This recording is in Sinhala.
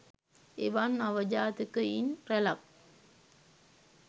එවන් අවජාතකයින් රැලක්